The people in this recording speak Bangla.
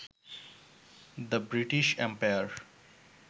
the British empire